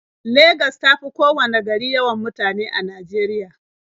Legas ta fi kowanne gari yawan mutane a Najeriya.